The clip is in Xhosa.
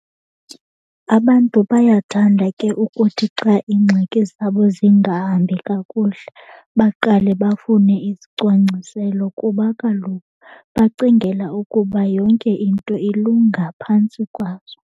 Abantu bayathanda ke ukuthi xa iingxaki zabo zingahambi kakuhle baqale bafune izicwangciselo kuba kaloku bacingela ukuba yonke into ilunga phantsi kwazo.